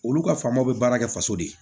Olu ka faamaw bɛ baara kɛ faso de ye